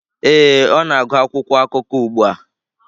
Ee, ọ na-agụ akwụkwọ akụkọ ugbu a.